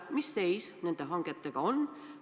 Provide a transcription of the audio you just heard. Mis seis nende hangetega on?